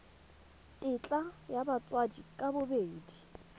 tetla ya batsadi ka bobedi